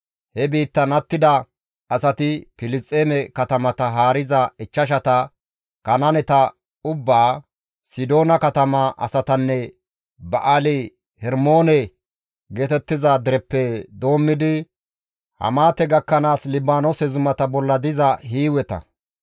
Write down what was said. He biittan attida asati, Filisxeeme katamata haariza ichchashata, Kanaaneta ubbaa, Sidoona katama asatanne Ba7aali-Hermoone geetettiza dereppe doommidi Hamaate gakkanaas Libaanoose zumata bolla diza Hiiweta.